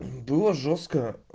было жёстко